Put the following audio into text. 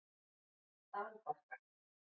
Dalbakka